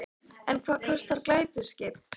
En hvað kostar glæsiskip sem þetta?